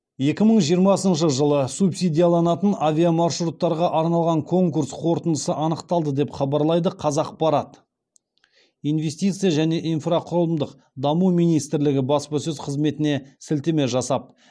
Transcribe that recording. екі мың жиырмасыншы жылы субсидияланатын авиамаршруттарға арналған конкурс қорытындысы анықталды деп хабарлайды қазақпарат инвестиция және инфрақұрылым даму министрлігіне баспасөз қызметіне сілтеме жасап